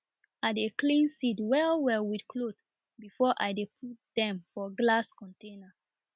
i dey clean seed well well with cloth before i dey put dem for glass container